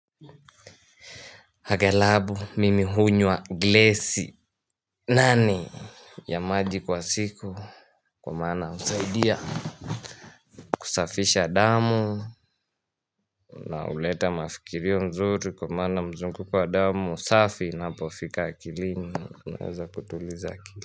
Hagalabu mimi hunywa glesi nane Yamaji kwa siku Kumana husaidia kusafisha damu Nahuleta mafikirio mzuri kwa maana mzungo kwa damu safi napofika akilini naweza kutuliza kilini.